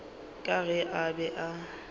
ka ge a be a